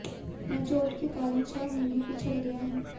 मैं चोट के कारण छह महीने पिछड़ गया हूं